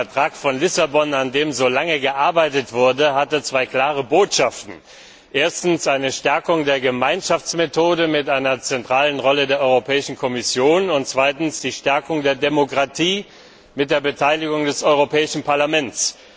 Der Vertrag von Lissabon, an dem so lange gearbeitet wurde, hatte zwei klare Botschaften erstens die Stärkung der Gemeinschaftsmethode mit einer zentralen Rolle der Kommission und zweitens die Stärkung der Demokratie mit der Beteiligung des Europäischen Parlaments.